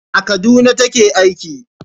A Kaduna ta ke aiki